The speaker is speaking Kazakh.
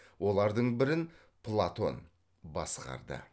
олардың бірін платон басқарды